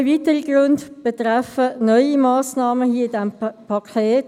Zwei weitere Gründe betreffen neue Massnahmen hier in diesem Paket;